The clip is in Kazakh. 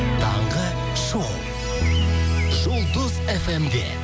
таңғы шоу жұлдыз фм де